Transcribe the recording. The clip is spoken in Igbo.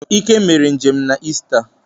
Ike mere njem na Ista